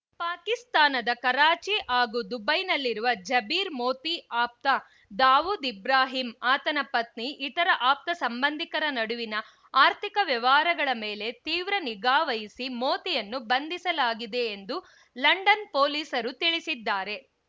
ಪಾಕಿಸ್ತಾನದ ಕರಾಚಿ ಹಾಗೂ ದುಬೈನಲ್ಲಿರುವ ಜಬೀರ್‌ ಮೋತಿ ಆಪ್ತ ದಾವೂದ್‌ ಇಬ್ರಾಹಿಂ ಆತನ ಪತ್ನಿ ಇತರ ಆಪ್ತ ಸಂಬಂಧಿಕರ ನಡುವಿನ ಆರ್ಥಿಕ ವ್ಯವಹಾರಗಳ ಮೇಲೆ ತೀವ್ರ ನಿಗಾವಹಿಸಿ ಮೋತಿಯನ್ನು ಬಂಧಿಸಲಾಗಿದೆ ಎಂದು ಲಂಡನ್‌ ಪೊಲೀಸರು ತಿಳಿಸಿದ್ದಾರೆ